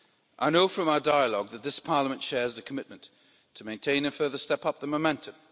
I know from our dialogue that this Parliament shares the commitment to maintain and further step up the momentum.